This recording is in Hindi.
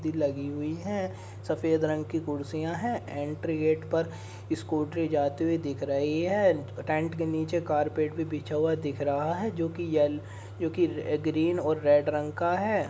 लगी हुई हैं सफेद रंग की कुर्सियाँ हैं एंट्री गेट पर स्कूटरी जाती हुई दिख रही है। टेंट के नीचे कारपेट भी बिछा हुआ दिख रहा है जोकि यल -- जो कि ग्रीन और रेड रंग का है।